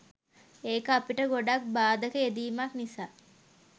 එක අපිට ගොඩක් බාදක යෙදීමත් නිසා.